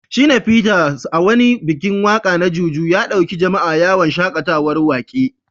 Shina Peters, a wani bikin waka na Juju, ya dauki jama’a yawon shakatawar wake.